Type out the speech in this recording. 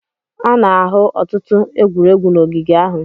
A na-ahụ ọtụtụ egwuregwu n'ogige ahụ.